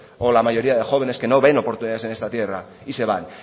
o la mayoría de jóvenes que no ven oportunidades en esta tierra y se van